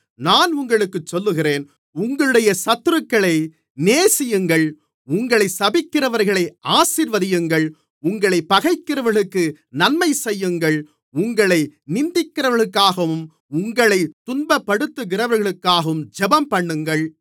நான் உங்களுக்குச் சொல்லுகிறேன் உங்களுடைய சத்துருக்களை நேசியுங்கள் உங்களைச் சபிக்கிறவர்களை ஆசீர்வதியுங்கள் உங்களைப் பகைக்கிறவர்களுக்கு நன்மை செய்யுங்கள் உங்களை நிந்திக்கிறவர்களுக்காகவும் உங்களைத் துன்பப்படுத்துகிறவர்களுக்காகவும் ஜெபம்பண்ணுங்கள்